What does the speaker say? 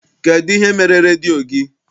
Kedụ ihe mere redio gị?